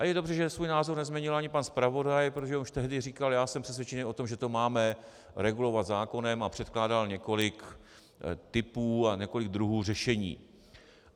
A je dobře, že svůj názor nezměnil ani pan zpravodaj, protože už tehdy říkal "já jsem přesvědčený o tom, že to máme regulovat zákonem" a předkládal několik typů a několik druhů řešení.